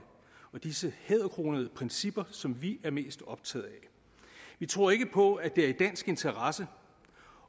og disse hæderkronede principper som vi er mest optaget af vi tror ikke på at det her er i dansk interesse